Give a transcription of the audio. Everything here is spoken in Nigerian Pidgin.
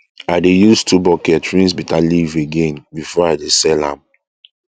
i dey use two bucket rinse bitterleaf again before i dey sell am